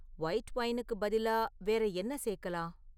White ஒயினுக்கு பதிலா வேற என்ன சேர்க்கலாம்?